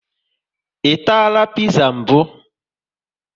I tara piza mbụ?